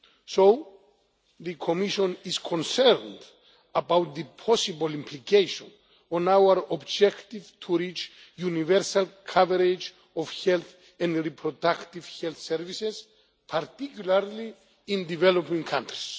So the Commission is concerned about the possible implications for our objective of achieving universal coverage in health and reproductive health services, particularly in developing countries.